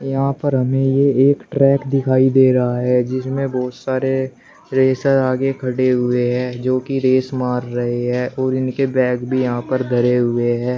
यहां पर हमें ये एक ट्रैक दिखाई दे रहा है जिसमें बहुत सारे रेसर आगे खड़े हुए हैं जोकि रेस मार रहे हैं और इनके बैग भी यहां पर धरे हुए हैं।